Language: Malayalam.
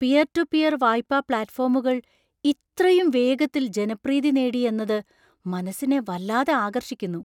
പിയർ ടു പിയർ വായ്പാ പ്ലാറ്റ്ഫോമുകൾ ഇത്രയും വേഗത്തിൽ ജനപ്രീതി നേടി എന്നത് മനസ്സിനെ വല്ലാതെ ആകർഷിക്കുന്നു.